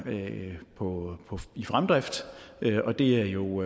i fremdrift og det er jo